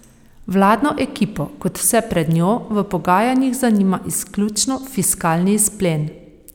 Vladno ekipo, kot vse pred njo, v pogajanjih zanima izključno fiskalni izplen.